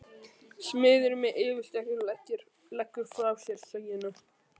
Smiðurinn með yfirskeggið leggur frá sér sögina.